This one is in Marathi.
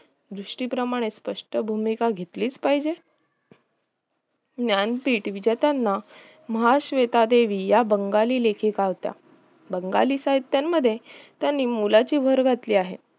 सृष्टी प्रमाणे स्पष्ट भुमिका घेतलीच पाहिजे ज्ञानपीठ पेटवित्याना महाश्वेतादेवी या बंगाली लेखिका होत्या बंगाली साहित्यामध्ये त्यानी मोलाची भर घातली आहे